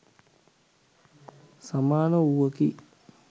සමාන වූවකි.